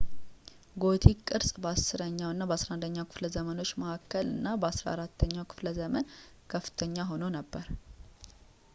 ጎቲክ ቅርጽ በ10ኛው እና በ11ኛው ከፍለ ዘመኖች መካከል እና በ14ኛው ክፍለ ዘመን ከፍተኛ ሆኖ ነበር